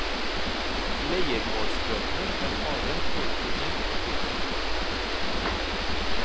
Leiermålsbøtene var harde både for menn og kvinner.